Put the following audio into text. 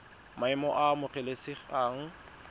maemo a a amogelesegang ke